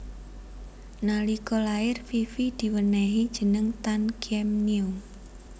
Nalika lair Fifi diwenéhi jeneng Tan Kiem Nio